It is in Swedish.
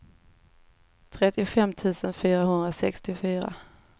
trettiofem tusen fyrahundrasextiofyra